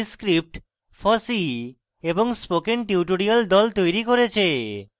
এই script fossee এবং spoken tutorial the তৈরী করেছে